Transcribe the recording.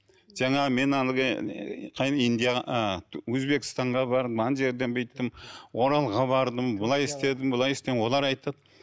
жаңағы мен әлгі индия өзбекстанға бардым жерден бүйттім оралға бардым былай істедім былай істедім олар айтады